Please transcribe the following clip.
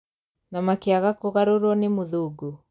Na makĩaga kũgarũrwo nĩ mũthũngũ